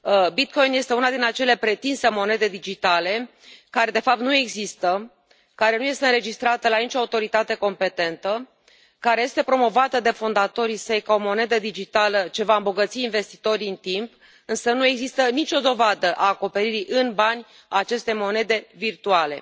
Bitcoin este una din acele pretinse monede digitale, care de fapt nu există, care nu este înregistrată la nicio autoritate competentă, care este promovată de fondatorii săi ca o monedă digitală ce va îmbogăți investitorii în timp, însă nu există nicio dovadă a acoperirii în bani a acestei monede virtuale.